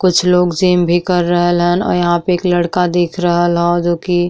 कुछ लोग जिम भी कर रहल अन। यहां पे एक लड़का दिख रहल ह जो की --